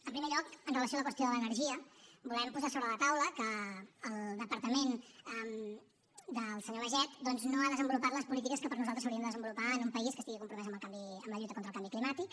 en primer lloc amb relació a la qüestió de l’energia volem posar sobre la taula que el departament del senyor baiget doncs no ha desenvolupat les polítiques que per nosaltres s’haurien de desenvolupar en un país que estigui compromès amb la lluita contra el canvi climàtic